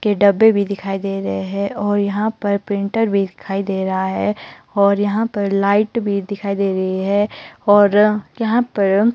के डब्बे भी दिखाई दे रहे हैं और यहां पर प्रिंटर भी दिखाई दे रहा है और यहां पर लाइट भी दिखाई दे रही है और यहां पर --